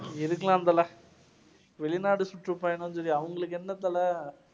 இருக்கலாம் தல. வெளிநாடு அவங்களுக்கு என்ன தல?